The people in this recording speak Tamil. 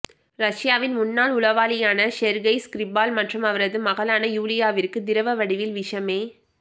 ரஷ்யாவின் முன்னாள் உளவாளியான செர்கெய் ஸ்கிர்பால் மற்றும் அவரது மகளான யூலியாவிற்கு திரவ வடிவில் விஷமே